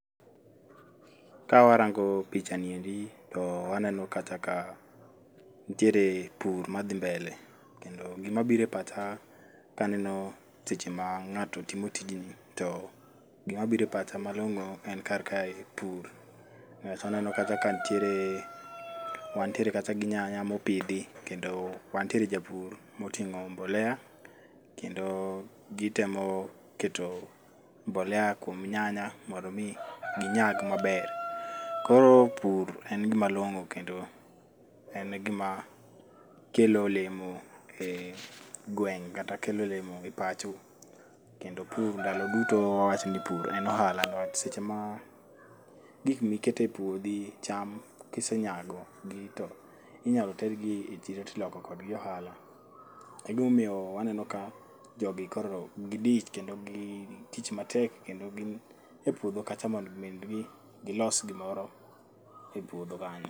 Kawarongo' picha niendi to aneno kacha ka nitiere pur mathi mbele kendo gimabiro e pacha ka aneno seche ma nga'to timo tijni to gimabiro e pacha malongo' en kar kae pur, aneno kacha ka nitiere wantiere kacha gi nyanya mopithi kendo wantiere kapur motingo' mbolea kendo gitemo keto mbelea kuom nyanya mondo mi ginyag maber, koro pur en gimalongo' kendo en gima kelo olemo e gweng' kata kelo olemo e pacho , pur ndalo duto wawachni pur en ohala but seche ma gik miketo e puothi cham kisenyagogi to inyalo tergie chiro to iloko kodgi ohala, e gima omiyo waneno ka jogi koro gidich kendo gi tich matek kendo gin e puotho kacha mondo mi gilos gimoro e puotho kanyo.